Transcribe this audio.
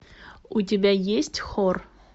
у тебя есть хор